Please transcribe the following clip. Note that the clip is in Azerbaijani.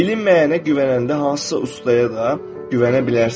Bilinməyənə güvənəndə hansısa ustaya da güvənə bilərsən.